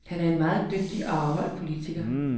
Han var en meget dygtig og afholdt politiker.